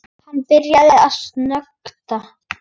Hún byrjar að snökta.